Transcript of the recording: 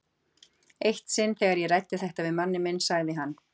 Eitt sinn þegar ég ræddi þetta við manninn minn sagði hann